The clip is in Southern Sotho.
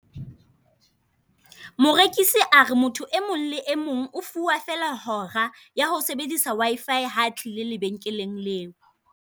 Morekisi a re motho e mong le e mong o fuwa feela hora, ya ho sebedisa W_I_F_F ha a tlile lebenkeleng leo.